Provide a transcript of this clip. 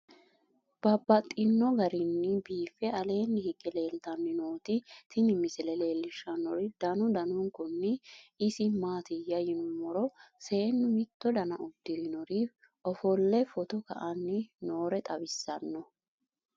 Babaxxittinno garinni biiffe aleenni hige leelittannotti tinni misile lelishshanori danu danunkunni isi maattiya yinummoro seennu mitto danna udirinnori ofolee footto ka'anni noore xawissanno